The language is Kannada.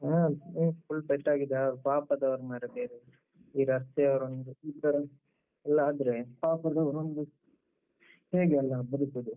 ಹಾ ಹ್ಮ್. full ಪೆಟ್ ಆಗಿದೆ. ಪಾಪದವ್ರು ಮಾರ್ರೆ ಬೇರೆ ಈ ರಸ್ತೆಯವರೊಂದು ಈ ತರಾನೇ ಹೀಗೆಲ್ಲ ಆದ್ರೆ ಪಾಪದವರೋಂದು ಹೇಗೆಲ್ಲ ಬದುಕುದು?